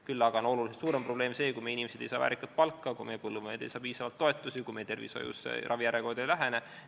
Küll aga on oluliselt suurem probleem see, kui meie inimesed ei saa väärikat palka, kui meie põllumehed ei saa piisavalt toetusi, kui tervishoius ravijärjekorrad ei vähene.